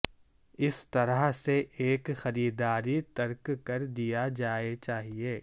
اس طرح سے ایک خریداری ترک کر دیا جائے چاہئے